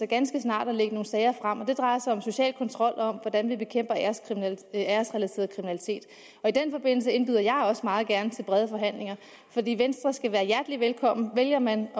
ganske snart at lægge nogle sager frem og det drejer sig om social kontrol og om hvordan vi bekæmper æresrelateret kriminalitet og i den forbindelse indbyder jeg også meget gerne til brede forhandlinger så venstre skal være hjertelig velkommen vælger man at